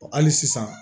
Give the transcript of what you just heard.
Hali sisan